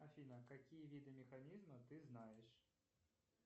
афина какие виды механизмов ты знаешь